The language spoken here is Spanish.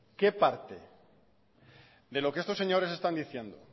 qué parte de lo que estos señores están diciendo